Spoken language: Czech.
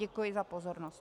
Děkuji za pozornost.